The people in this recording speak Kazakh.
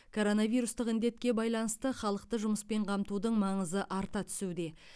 коронавирустық індетке байланысты халықты жұмыспен қамтудың маңызы арта түсуде